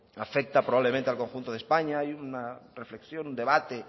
afecta probablemente al conjunto de españa y una reflexión un debate